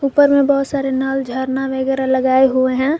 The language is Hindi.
ऊपर में बहोत सारे नाल झरना वगैरा लगाए हुए हैं।